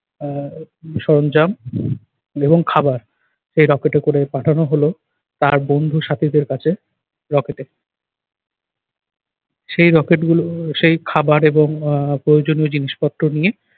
আহ সরঞ্জাম এবং খাবার এই rocket এ করে পাঠানো হলো তার বন্ধুর সাথীদের কাছে rocket এ। সেই rocket গুলো সেই খাবার এবং আহ প্রয়োজনীয় জিনিসপত্র নিয়ে